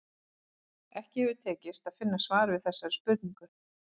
Ekki hefur tekist að finna svar við þessari spurningu.